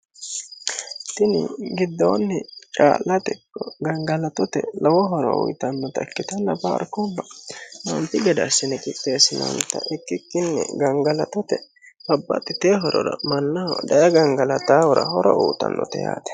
tini giddoonni caa'late ikko gangalatote lowo horo uyitannota ikkitanna paarkuubba anfi gade assine qidheessinoonta ikkikkinni gangalatote babbaxxiteyo horora mannaho daye gangalataahura horo uuyiitannote yaate.